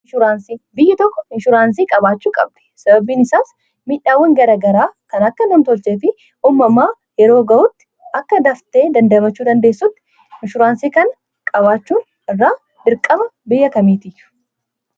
biyyi tokko inshuraansii qabaachuu qabdi sababbiin isaas miidhaawwan garagaraa kan akka nam tolchee fi uumamaa yeroo ga'utti akka daftee damdamachuu dandeessutti inshuraansii kana qabaachuu irraa dirqama biyya kamiiti